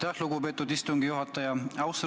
Aitäh, lugupeetud istungi juhataja!